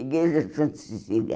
Igreja de Santa Cecília.